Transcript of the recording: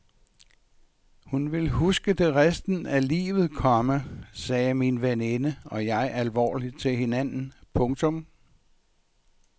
Hun vil huske det resten af livet, komma sagde min veninde og jeg alvorligt til hinanden. punktum